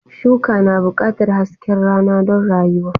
Shuka na buƙatar hasken rana don rayuwa.